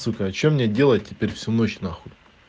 сука а что мне делать теперь всю ночь нахуй